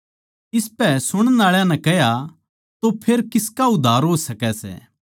इसपै सुणण आळा नै कह्या तो फेर किसका उद्धार हो सकै सै